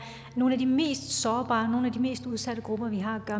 nogle af de mest sårbare nogle af de mest udsatte grupper vi har at